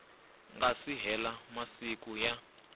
nga si hela masiku ya